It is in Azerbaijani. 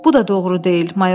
Bu da doğru deyil.